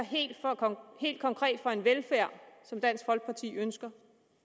helt konkret for en velfærd som dansk folkeparti ønsker